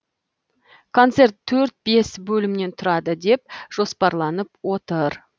концерт төрт бес бөлімнен тұрады деп жоспарланып отыр